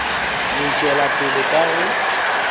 no tšwela pele ka go